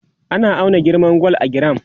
ana auna girman gwal a giram